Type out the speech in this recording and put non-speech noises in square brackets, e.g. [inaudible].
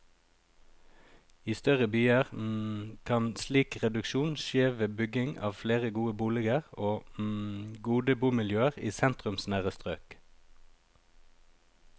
I større byer [hesitation] kan slik reduksjon skje ved bygging av flere gode boliger og [hesitation] gode bomiljøer i sentrumsnære strøk.